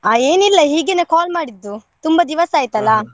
ಆ ಏನಿಲ್ಲ ಹೀಗೇನೇ call ಮಾಡಿದ್ದು ತುಂಬಾ ದಿವಸ .